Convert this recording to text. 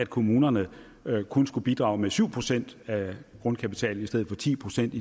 kommunerne kun skal bidrage med syv procent af grundkapitalen i stedet for ti procent